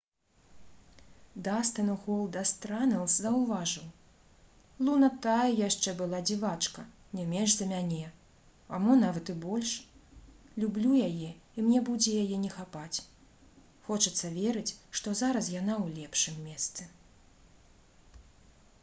дастын «голдаст» ранэлс заўважыў: «луна тая яшчэ была дзівачка не менш за мяне... а мо нават і больш... люблю яе і мне будзе яе не хапаць... хочацца верыць што зараз яна ў лепшым месцы»